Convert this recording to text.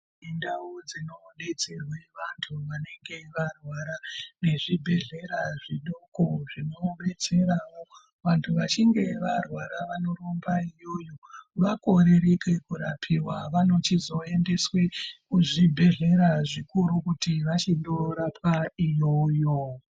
Mundau dzunodetserwa vanthu vanenge varwara nezvibhedhlera zvidoko zvinodetserao vanthu vachinge varwara vanorumba ikweyo vakorereke kurapiwa vanochizoendeswe kuzvibhedhlera zvikuru kuti vachindorapwa iyoyo.